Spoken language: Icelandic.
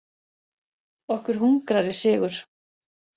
Okkur hungrar í sigur.